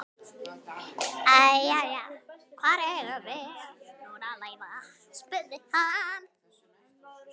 Jæja, hvar eigum við nú að leita? spurði hann.